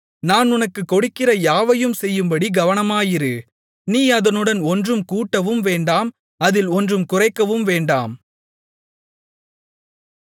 நான் உனக்குக் கொடுக்கிற யாவையும் செய்யும்படி கவனமாயிரு நீ அதனுடன் ஒன்றும் கூட்டவும் வேண்டாம் அதில் ஒன்றும் குறைக்கவும் வேண்டாம்